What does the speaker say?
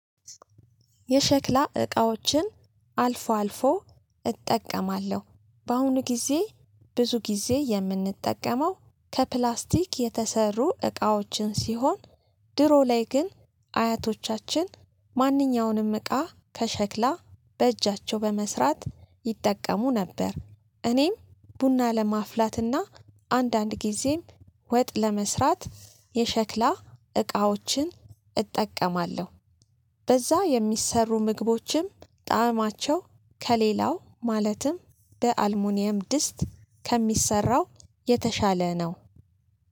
የሸክላ እቃዎችን አልፎ አልፎ እጠቀማለሁ። በአሁኑ ጊዜ ብዙ ጊዜ የምንጠቀመው ከፕላስቲክ የተሰሩ እቃዎችን ሲሆን። ድሮ ላይ ግን አያቶቻችን ማንኛውንም እቃ ከሸክላ በእጃቸው በመስራት ይጠቀሙ ነበር። እኔም ቡና ለማፍላትና አንዳንድ ጊዜም ወጥ ለመስራት የሸክላ እቃዎችን እጠቀማለሁ። በዛ የሚሰሩ ምግቦችም ጣዕማቸው ከሌላው ማለትም በ አልሙኒየም ድስት ከሚሰራው የተሻለ ነው